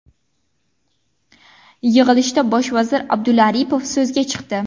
Yig‘ilishda bosh vazir Abdulla Aripov so‘zga chiqdi.